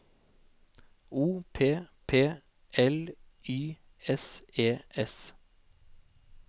O P P L Y S E S